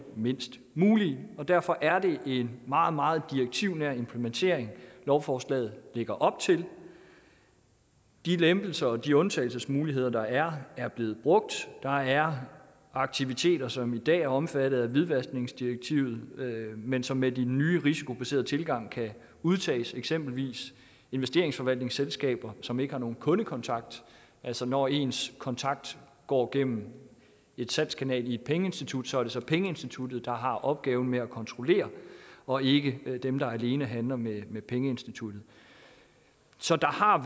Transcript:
mindst mulige og derfor er det en meget meget direktivnær implementering lovforslaget lægger op til de lempelser og de undtagelsesmuligheder der er er blevet brugt der er aktiviteter som i dag er omfattet af hvidvaskningsdirektivet men som med den nye risikobaserede tilgang kan udtages eksempelvis investeringsforvaltningsselskaber som ikke har nogen kundekontakt altså når ens kontakt går gennem en salgskanal i et pengeinstitut er det så pengeinstituttet der har opgaven med at kontrollere og ikke dem der alene handler med med pengeinstituttet så der har